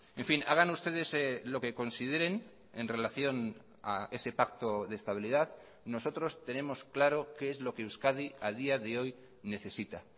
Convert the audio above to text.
en fin hagan ustedes lo que consideren en relación a ese pacto de estabilidad nosotros tenemos claro qué es lo que euskadi a día de hoy necesita